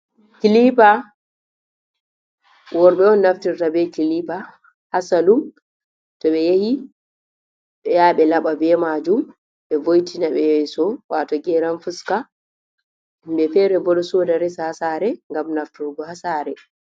Kilipa: Worɓe on naftirta be kilipa ha salun to ɓe yahi ya ɓe laɓa be majum be vo'itina be yaso wato geran fuska. Himɓe fere bo ɗo soda resa ha sare ngam nafturgo ha sare.